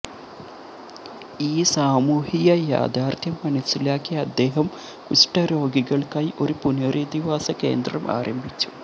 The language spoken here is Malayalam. ഈ സാമൂഹ്യ യാഥാർത്ഥ്യം മനസ്സിലാക്കിയ അദ്ദേഹം കുഷ്ഠരോഗികൾക്കായി ഒരു പുനരധിവാസ കേന്ദ്രം ആരംഭിച്ചു